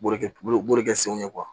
B'o de kɛ borikɛ senw ye